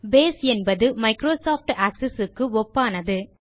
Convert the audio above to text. base என்பது Microsoft Access க்கு ஒப்பானது